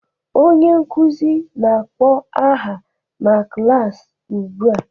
Onye nkụzi na akpọ aha n'klas ụgbụa